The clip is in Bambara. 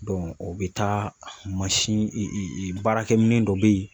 o bɛ taa mansin baarakɛ minɛn dɔ bɛ ye.